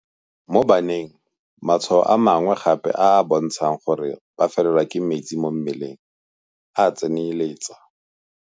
Mo baneng, matshwao a mangwe gape a a bontshang gore ba felelwa ke metsi mo mmeleng a tsenyeletsa